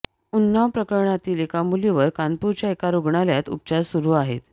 उन्नाव प्रकरणातील एका मुलीवर कानपूरच्या एका रुग्णालयात उपचार सुरू आहेत